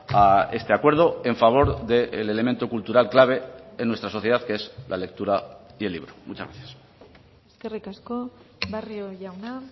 a este acuerdo en favor del elemento cultural clave en nuestra sociedad que es la lectura y el libro muchas gracias eskerrik asko barrio jauna